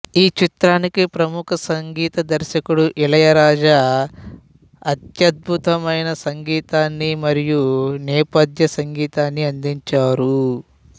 ఈ చిత్రానికి ప్రముఖ సంగీత దర్శకుడు ఇళయరాజా అత్యత్భతమైన సంగీతాన్ని మరియి నేపథ్య సంగీతాన్ని అందించారు